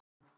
En Man.